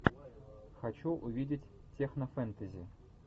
хочу увидеть технофэнтези